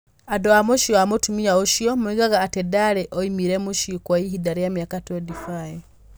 Andũ a mũciĩ wa mũtumia ũcio moigaga atĩ ndarĩ oimire mũciĩ kwa ihinda rĩa mĩaka 25.